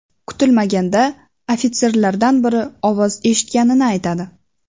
Kutilmaganda ofitserlardan biri ovoz eshitganini aytadi.